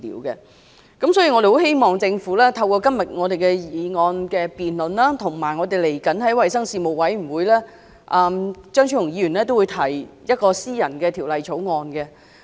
所以，我們希望政府透過今天這項議案辯論，以及張超雄議員將會在衞生事務委員會提出的私人條例草案......